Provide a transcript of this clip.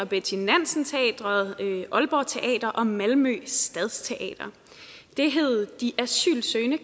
betty nansen teatret aalborg teater og malmö stadsteater det hed de asylsøgende